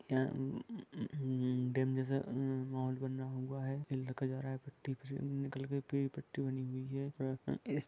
यहा ह-ह-ह- डेम जैसा बना हुआ है एक ब्रिज भि दिख रहा है।